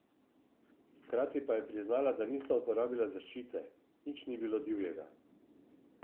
Hkrati pa je priznala, da nista uporabila zaščite: "Nič ni bilo divjega.